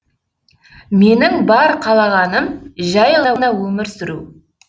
менің бар қалағаным жай ғана өмір сүру